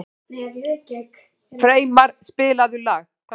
Freymar, spilaðu lag.